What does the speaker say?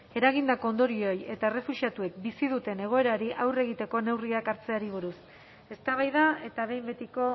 eragindako ondorioei eta errefuxiatuek bizi duten egoerari aurre egiteko neurriak hartzeari buruz eztabaida eta behin betiko